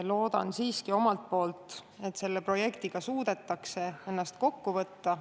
Loodan siiski, et selle projekti elluviimisel suudetakse ennast kokku võtta.